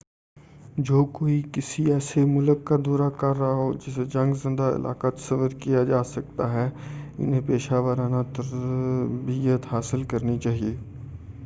جو کوئی کسی ایسے ملک کا دورہ کر رہا ہو جسے جنگ زدہ علاقہ تصور کیا جاسکتا ہے انہیں پیشہ ورانہ تربیت حاصل کرنی چاہئے